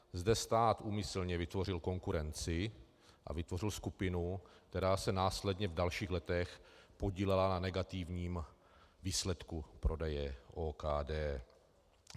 Zde stát úmyslně vytvořil konkurenci a vytvořil skupinu, která se následně v dalších letech podílela na negativním výsledku prodeje OKD.